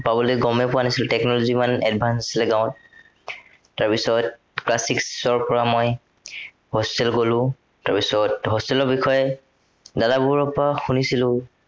পাবলৈ গমেই পোৱা নাছিলো, technology মানে ইমান advance নাছিলে গাঁৱত। তাৰপিছত class six ৰ পৰা মই, hostel গলো, তাৰপিছত, hostel ৰ বিষয়ে, দাদাবোৰৰ পৰা শুনিছিলো।